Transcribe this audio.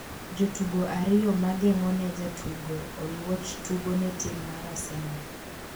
jotugo ariyo ma geng'o ne jatugo Oluoch tugo ne tim mar Arsenal